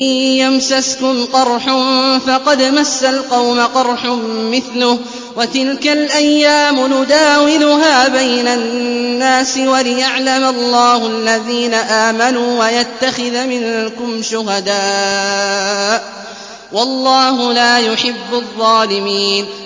إِن يَمْسَسْكُمْ قَرْحٌ فَقَدْ مَسَّ الْقَوْمَ قَرْحٌ مِّثْلُهُ ۚ وَتِلْكَ الْأَيَّامُ نُدَاوِلُهَا بَيْنَ النَّاسِ وَلِيَعْلَمَ اللَّهُ الَّذِينَ آمَنُوا وَيَتَّخِذَ مِنكُمْ شُهَدَاءَ ۗ وَاللَّهُ لَا يُحِبُّ الظَّالِمِينَ